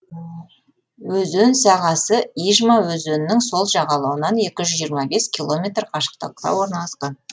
өзен сағасы ижма өзенінің сол жағалауынан екі жүз жиырма бес километр қашықтықта орналасқан